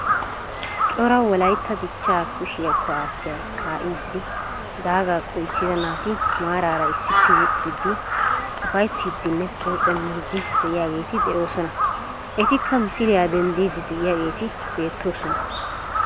Cora wollaytta dichchaa kushshiyaa kuwaasiyaa ka"idi daagaa qolchchida naati maarara issippe yeexxidi upayttiidinne poocamiidi de'iyaageti de'oosona. Etikka misiliyaa dendiidi de'iyaageti beettoosona.